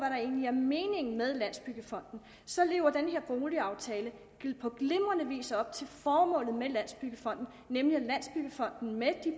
egentlig er meningen med landsbyggefonden så lever den her boligaftale på glimrende vis op til formålet med landsbyggefonden nemlig at landsbyggefonden med de